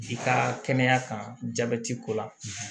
I ka kɛnɛya kan jaabɛti ko la